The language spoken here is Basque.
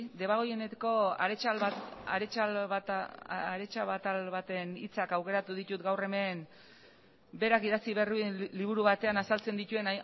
debagoieneko baten hitzak aukeratu ditut gaur hemen berak idatzi berri duen liburu batean azaltzen dituen